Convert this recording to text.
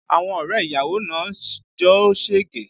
Àwọn ọrẹ ìyàwó náà ń jó sege